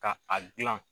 Ka a gilan